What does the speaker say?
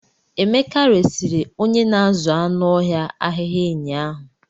Emeka resịrị onye na-azụ anụ ọhịa ahịhịa enyi ahụ.